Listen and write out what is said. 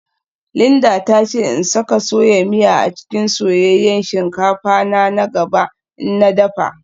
Linda ta ce in saka soya miya a cikin soyayyen shinkafa na na gaba in na dafa